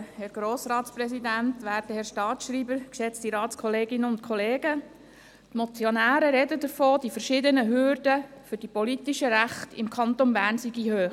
Die Motionäre sagen, die verschiedenen Hürden für die politischen Rechte im Kanton Bern seien hoch.